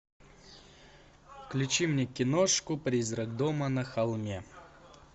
включи мне киношку призрак дома на холме